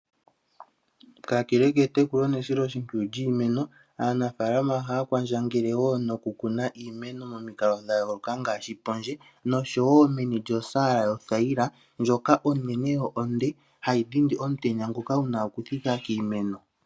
Kakele ketekulo nesiloshimpwiyu lyiimeno, aanafalama ohaya kwandjangele wo no ku kuna iimeno momikalo dhayooloka ngaashi pondje nosho wo meni lyosaala yothayila ndjoka onene yo onde hayi dhindi omutenya ngoka guna okuthika kiimeno.